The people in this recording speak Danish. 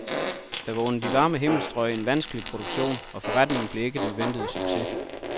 Det var under de varme himmelstrøg en vanskelig produktion, og forretningen blev ikke den ventede succes.